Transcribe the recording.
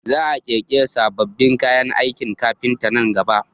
Za a ƙirƙiri sabbin kayan aikin kafinta nan gaba